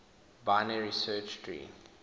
binary search tree